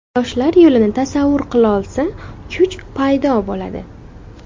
Yoshlar yo‘lini tasavvur qilolsa, kuch paydo bo‘ladi.